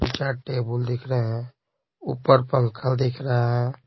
चार टेबल दिख रहे हैं ऊपर पंखा दिख रहा है।